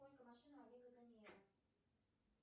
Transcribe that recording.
сколько машин у олега ганеева